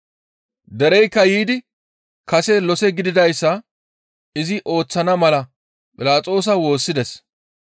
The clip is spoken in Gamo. Dereykka yiidi kase lose gididayssa izi ooththana mala Philaxoosa woossides.